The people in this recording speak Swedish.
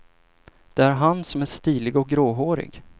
Det är han som är stilig och gråhårig.